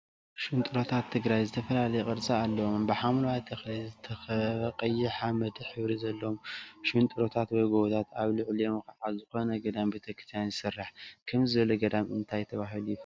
ሽንጥሮታት ትግራይ ዝተፈላለየ ቅርፂ አለዎም፡፡ ብሓምለዋይ ተክሊ ዝትከበበ ቀይሕ ሓመድ ሕብሪ ዘለዎም ሽንጥሮታት/ጎቦታት አብ ልዕሊኦም ከዓ ዝኮነ ገዳም ቤተክርስትያ ይስራሕ፡፡ ከምዚ ዝበለ ገዳም እንታይ ተባሂሉ ይፍለጥ?